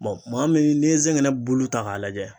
Bɔn maa min n'i ye zɛgɛnɛ bulu ta k'a lajɛ